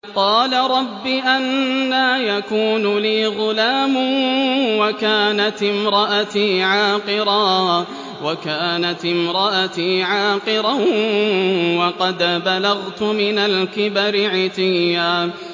قَالَ رَبِّ أَنَّىٰ يَكُونُ لِي غُلَامٌ وَكَانَتِ امْرَأَتِي عَاقِرًا وَقَدْ بَلَغْتُ مِنَ الْكِبَرِ عِتِيًّا